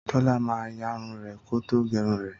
Tólá ma yarun rè kótó gérun rè